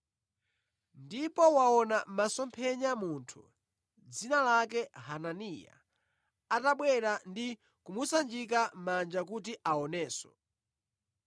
Ndipo waona mʼmasomphenya munthu, dzina lake Hananiya atabwera ndi kumusanjika manja kuti aonenso.”